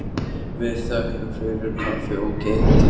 Við þökkum fyrir kaffið og keyrum til baka.